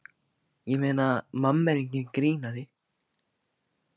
Ég meina, mamma er enginn grínari.